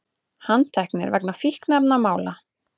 Handteknir vegna fíkniefnamála